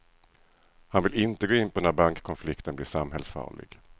Han vill inte gå in på när bankkonflikten blir samhällsfarlig.